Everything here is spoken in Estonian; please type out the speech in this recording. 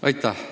Aitäh!